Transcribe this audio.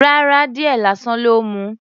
Rárá. Díẹ̀ lásán ló mu.